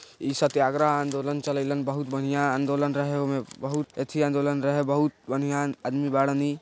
इ सत्याग्रह आंदोलन बहुत बढ़िया आंदोलन रहे बहुत एथि आंदोलन रहे बहुत बढ़िया आदमी बाड़न इ।